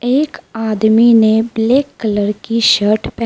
एक आदमी ने ब्लैक कलर की शर्ट पह--